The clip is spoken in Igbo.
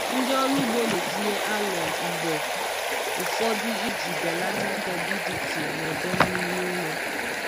Ndị ọrụ ugbo na-etinye alụmụ mgbe ụfọdụ iji belata turbidity na ọdọ mmiri ụrọ.